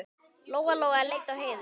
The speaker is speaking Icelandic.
Lóa-Lóa leit á Heiðu.